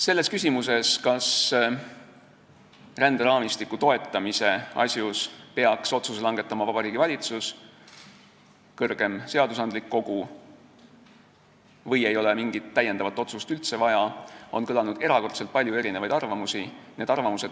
Selles küsimuses, kas ränderaamistiku toetamise asjus peaks otsuse langetama Vabariigi Valitsus või kõrgem seadusandlik kogu või ei ole mingit täiendavat otsust üldse vaja, on kõlanud erakordselt palju erinevaid arvamusi.